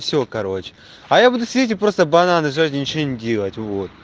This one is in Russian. все короче а я буду сидеть и просто бананы жрать и ничего не делать вот